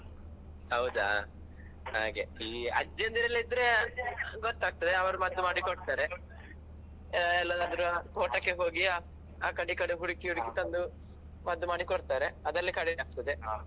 ಹೌದಾ ಹಾಗೆ. ಈ ಅಜ್ಜಿಯಂದ್ರೆಲ್ಲಾ ಇದ್ರೆ ಗೊತ್ತಗ್ತದೆ ಅವ್ರು ಮದ್ದು ಮಾಡಿ ಕೊಡ್ತಾರೆ ಆ ಎಲ್ಲಾದ್ರೂ ತೋಟಕ್ಕೆ ಹೋಗಿಯಾ ಆ ಕಡೆ ಈ ಕಡೆ ಹುಡುಕಿ ಹುಡುಕಿ ತಂದು ಮದ್ದು ಮಾಡಿ ಕೊಡ್ತಾರೆ ಅದ್ರಲ್ಲಿ ಕಡಿಮೆ ಆಗ್ತದೆ.